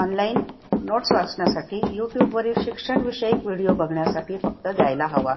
Online noted वाचण्यासाठी युट्युबवरील शिक्षणविषयक video बघण्यासाठी फक्त द्यायला हवा.